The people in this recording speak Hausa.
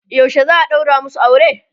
yaushe za'a ɗaura masu aure?